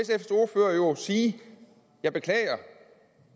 sige jeg beklager